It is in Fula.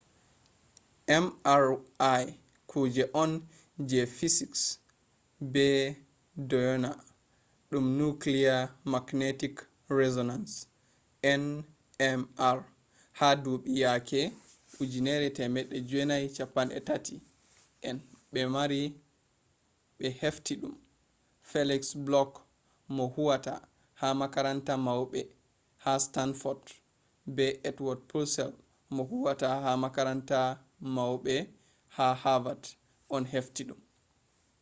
mri kuje on je fisiks ɓe ɗo ɗyona ɗum nukliye magnetic resonans nmr ha duuɓi yake 1930 en ɓe hefti ɗum feliks bloch mo huwata ha makaranta mauɓe ha stanfod be edwod pusel mo huwata ha makaranta maubɓe ha havad on hefti ɗum